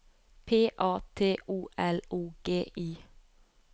P A T O L O G I